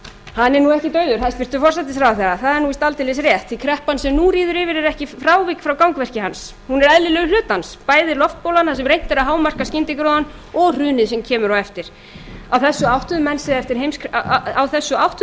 hann er nú ekki dauður hæstvirtur forsætisráðherra það er nú víst aldeilis rétt því kreppan sem nú ríður yfir er ekkert frávik frá gangverki hans hún er eðlilegur hluti hans bæði loftbólan þar sem reynt er að hámarka skyndigróðann og hrunið sem kemur á eftir á þessu áttuðu